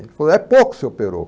Ele falou, é pouco, seu Perocco.